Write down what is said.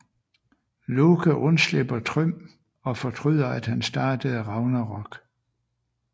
Loke undslipper Thrym og fortryder at han startede Ragnarok